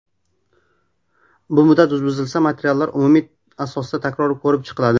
Bu muddat buzilsa, materiallar umumiy asosda takror ko‘rib chiqiladi.